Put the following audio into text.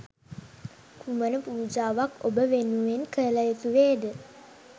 කුමන පූජාවක් ඔබ වෙනුවෙන් කළයුතු වේද?